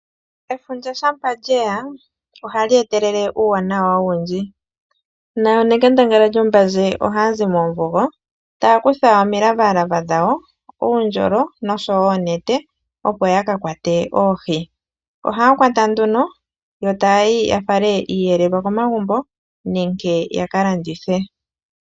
Efundja shampa lyeya ohali etelele uuwanawa owundji noonekandangala lyombandje ohayazi moomvugo taya kutha omilavalava dhawo, uundjolo nosho wo oonete opo yakakwate oohi. Ohaya kwata etayayi yafale iiyelelwa komagumbo nenge yakalandithe.